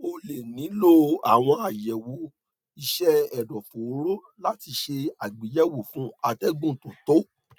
o lè nílò àwọn àyẹwò iṣẹ ẹdọfóró láti ṣe àgbéyẹwò fún atẹgùn tó tó